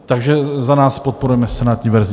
Takže za nás podporujeme senátní verzi.